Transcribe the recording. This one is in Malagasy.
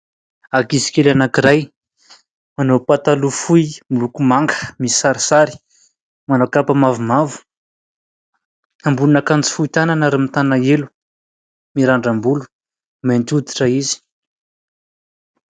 Ankizy kely anankiray, manao pataloha fohy miloko manga, misy sarisary ; manao kapa mavomavo, ambonin'akanjo fohy tanana, ary mitana elo ; mirandram-bolo ; mainty hoditra izy.